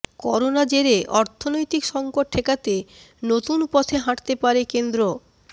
corona জেরে অর্থনৈতিক সংকট ঠেকাতে নতুন পথে হাঁটতে পারে কেন্দ্র